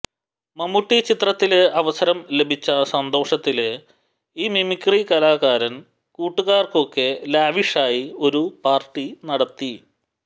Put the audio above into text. മമ്മൂട്ടി ചിത്രത്തില് അവസരം ലഭിച്ച സന്തോഷത്തില് ഈ മമിക്രി കലാകാരന് കൂട്ടുകാര്ക്കൊക്കെ ലാവിഷായി ഒരു പാര്ട്ടി നടത്തി